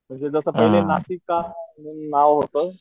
म्हणजे जस पहिले नाशिका म्हणून नाव होत